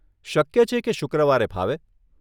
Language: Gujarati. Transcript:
શક્ય છે કે શુક્રવારે ફાવે